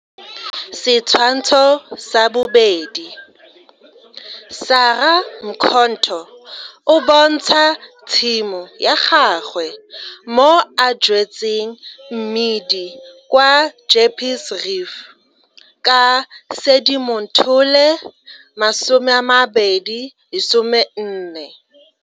Setshwantsho 2. Sarah Mkhonto o bontsha tshimo ya gagwe mo a jwetseng mmidi kwa Jeppes Reef ka Sedimonthole 2014.